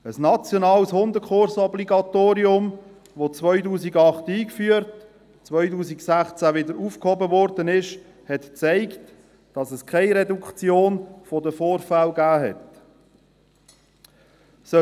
Das nationale Hundekursobligatorium, das 2008 eingeführt und 2016 wieder aufgehoben wurde, hat gezeigt, dass es keine Reduktion der Vorfälle gegeben hat.